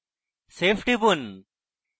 save টিপুন